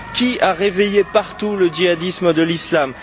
Qui a réveillé partout le djihadisme de l'islam?